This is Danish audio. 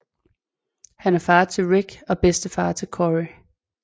Han er far til Rick og bedstefar til Corey